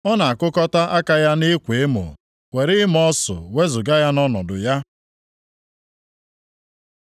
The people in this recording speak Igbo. Ọ na-akụkọta aka ya nʼịkwa emo, were ịma ọsụ wezuga ya nʼọnọdụ ya.”